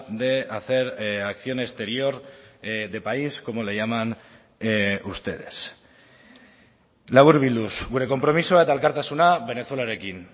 de hacer acción exterior de país como le llaman ustedes laburbilduz gure konpromisoa eta elkartasuna venezuelarekin